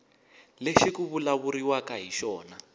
lexi ku vulavuriwaka hi xona